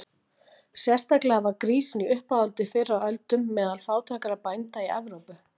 Sérstaklega var grísinn í uppáhaldi fyrr á öldum meðal fátækra bænda í Evrópu.